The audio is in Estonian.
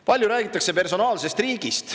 Palju räägitakse personaalsest riigist.